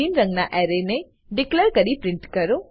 રંગના એરને ડીકલેર કરી પ્રિન્ટ કરો